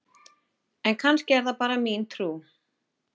en kannski er það bara mín trú!